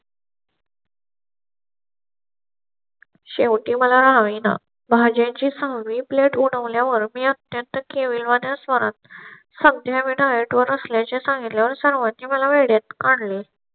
शेवटी मलाही ना भाज्या ची सहावी plate उगवल्या वर मी अत्यंत केविलवाण्या स्वरात सध्या मि diet नसल्या चे सांगितल्या वर सर्वांची मला वेड्यात काढले.